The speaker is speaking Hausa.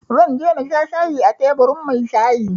Zan je na sha shayi a teburin mai shayi